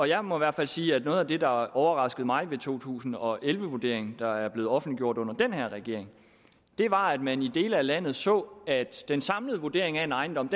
jeg må i hvert fald sige at noget af det der overraskede mig ved to tusind og elleve vurderingen der er blevet offentliggjort under den her regering var at man i dele af landet så at den samlede vurdering af en ejendom